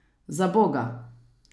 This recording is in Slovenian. Zaboga!